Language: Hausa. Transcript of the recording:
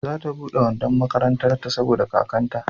za ta bude wandon makarantar ta saboda kakkanta